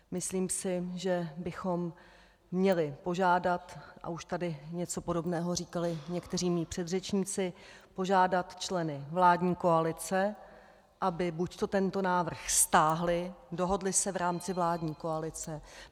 Myslím si, že bychom měli požádat, a už tady něco podobného říkali někteří mí předřečníci, požádat členy vládní koalice, aby buďto tento návrh stáhli, dohodli se v rámci vládní koalice.